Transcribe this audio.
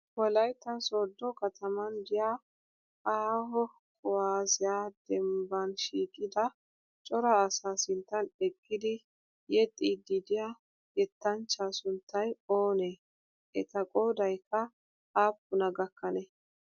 Wolayitta sooddo kataman diyaa aaho kuwaazziyaa dembbanshiiqida cora asaa sinttan eqqidi yexxiiddi diyaa yettaanchchaa sunttayi oonee? Etaa qoodaykka aappunaa gakkanee?